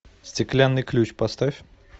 стеклянный ключ поставь